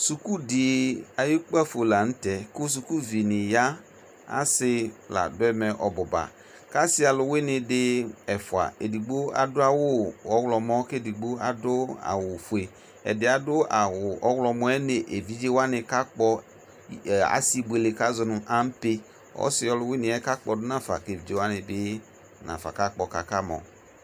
Suku dɩ ayʋ ukpǝfo la nʋ tɛ kʋ sukuvinɩ ya Asɩ la dʋ ɛmɛ ɔbʋ ba, kʋ asɩ alʋwɩnɩ dɩ ɛfʋa, edigbo adʋ awʋ ɔwlɔmɔ la kʋ edigbo adʋ awʋfue Ɛdɩ yɛ adʋ awʋ ɔwlɔmɔ yɛ nʋ evidze wanɩ kakpɔ ɛ asɩbuele kʋ azɔ nʋ ampe Ɔsɩ ɔlʋwɩnɩ yɛ kakpɔ dʋ nafa kʋ evidze wanɩ bɩ nafa kakpɔ kʋ akamɔ